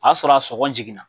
A sɔrɔ a sɔgɔn jiginna.